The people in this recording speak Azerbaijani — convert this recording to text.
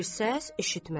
Bir səs eşitmədi.